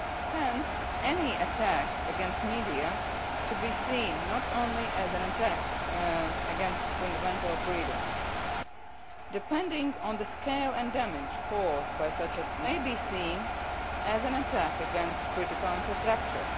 Hence, any attack against the media should be seen not only as an attack against a fundamental freedom depending on the scale and damage caused by such an attack, it may be seen as an attack against critical infrastructure.